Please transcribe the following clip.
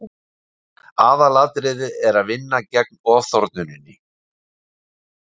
Aðalatriðið er að vinna gegn ofþornuninni.